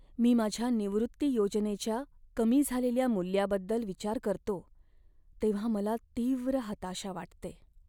मी माझ्या निवृत्ती योजनेच्या कमी झालेल्या मूल्याबद्दल विचार करतो तेव्हा मला तीव्र हताशा वाटते.